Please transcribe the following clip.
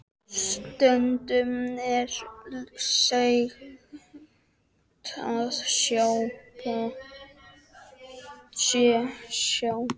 Stundum er sagt að sjódauðinn sé sætur.